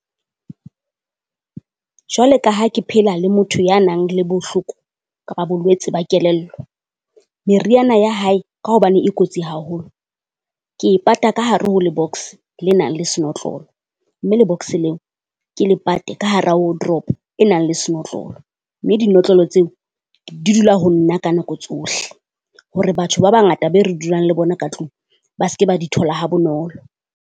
Jwale ka ha ke phela le motho ya nang le bohloko kapa bolwetse ba kelello, meriana ya hae ka hobane e kotsi haholo. Ke e pata ka hare ho le-box le nang le senotlolo, mme le-box leo ke le pate ka hara wardrobe e nang le senotlolo, mme dinotlolo tseo di dula ho nna ka nako tsohle. Hore batho ba bangata be re dulang le bona ka tlung ba se ke ba di thola ha bonolo.